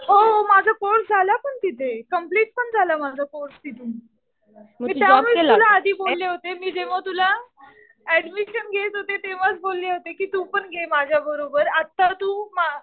हो. माझा कोर्स झाला पण तिथे. कम्प्लिट पण झाला माझा कोर्स तिथे. मी जेव्हा तुला ऍडमिशन घेत होते तेव्हाच बोलले होते कि तू पण घे माझ्या बरोबर. आता तू